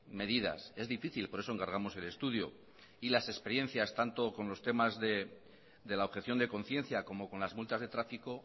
medidas es difícil por eso encargamos el estudio y las experiencias tanto con los temas de la objeción de conciencia como con las multas de tráfico